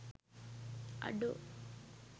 අඩෝ!